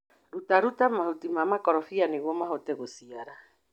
Ruta ruta mahuti ma makorofia nĩguo mahote gũciara.